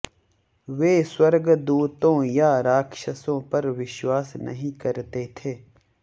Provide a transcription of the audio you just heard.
वे स्वर्गदूतों या राक्षसों पर विश्वास नहीं करते थे